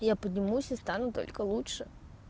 я поднимусь и стану только лучше